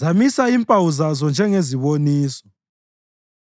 zamisa impawu zazo njengeziboniso.